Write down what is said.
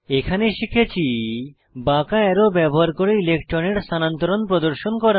এখানে শিখেছি বাঁকা অ্যারো ব্যবহার করে ইলেক্ট্রনের স্থানান্তরণ প্রদর্শন করা